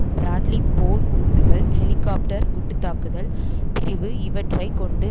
Bradley போர் ஊந்துகள் helicopter குண்டு தாக்குதல் பிரிவு இவற்றை கொண்டு